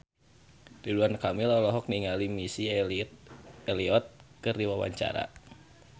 Ridwan Kamil olohok ningali Missy Elliott keur diwawancara